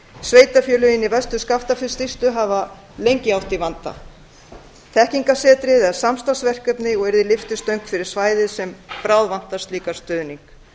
sveitarfélögin í vestur skaftafellssýslu eiga í vanda sem lengi hefur staðið þekkingarsetrið er samstarfsverkefni og yrði lyftistöng fyrir svæðið sem bráðvantar slíkan stuðning